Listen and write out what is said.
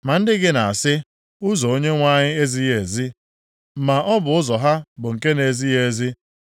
“Ma ndị gị na-asị, ‘Ụzọ Onyenwe anyị ezighị ezi.’ Ma ọ bụ ụzọ ha bụ nke na-ezighị ezi.